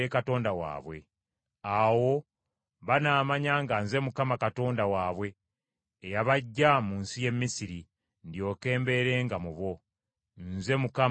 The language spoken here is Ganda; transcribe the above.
Awo banaamanya nga nze Mukama Katonda waabwe, eyabaggya mu nsi y’e Misiri ndyoke mbeerenga mu bo. Nze Mukama Katonda waabwe.”